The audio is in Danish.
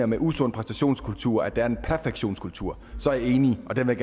med usund præstationskultur mener at der er en perfektionskultur så er jeg enig og den vil